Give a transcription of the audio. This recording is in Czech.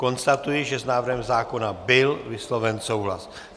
Konstatuji, že s návrhem zákona byl vysloven souhlas.